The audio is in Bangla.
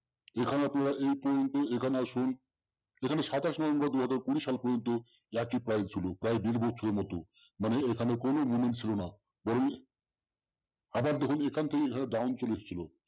এইখানে আপনারা এই point এ এখানে আসুন এখানে সাতাশ November দুহাজার কুড়ি সাল পর্যন্ত একই price ছিল প্রায় দেড় বছর মতো মানে এখানে কোনো ছিল না আবার দেখুন এখান থেকে এইভাবে down চলে এসছিল